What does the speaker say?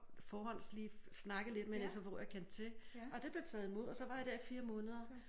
Forhånds lige snakket lidt med en sfo jeg kendte til og det blev taget imod og så var jeg der i 4 måneder